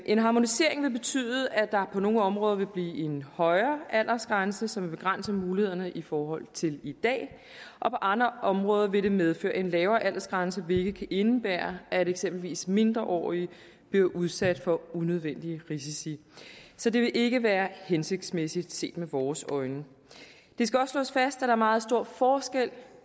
en harmonisering vil betyde at der på nogle områder vil blive en højere aldersgrænse som vil begrænse mulighederne i forhold til i dag og på andre områder vil det medføre en lavere aldersgrænse hvilket kan indebære at eksempelvis mindreårige bliver udsat for unødvendige risici så det vil ikke være hensigtsmæssigt set med vores øjne det skal også slås fast at der er meget stor forskel